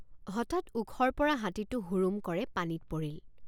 হঠাৎ ওখৰপৰা হাতীটে৷ হুৰুম্ কৰে পানীত পৰিল।